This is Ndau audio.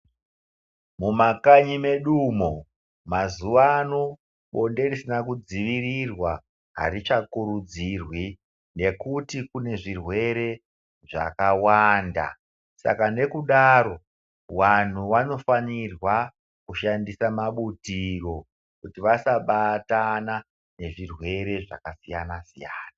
Mumakanyi medu umo mazuwano blonde risina kudzivirirwa arichakurudzirwi ngekuti kune zvirwere zvakawanda, saka ngekudaro wangu wainofanirwa kushandisa mabutiro kuti vasabatana nezvirwere zvakasiyana siyana.